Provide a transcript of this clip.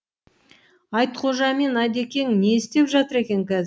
айтқожа мен әдекең не істеп жатыр екен қазір